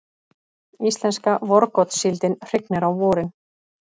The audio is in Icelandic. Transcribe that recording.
Íslenska vorgotssíldin hrygnir á vorin.